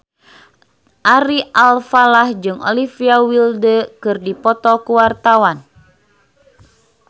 Ari Alfalah jeung Olivia Wilde keur dipoto ku wartawan